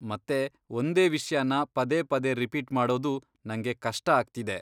ಮತ್ತೆ ಒಂದೇ ವಿಷ್ಯನ ಪದೇ ಪದೇ ರಿಪೀಟ್ ಮಾಡೋದು ನಂಗೆ ಕಷ್ಟ ಆಗ್ತಿದೆ.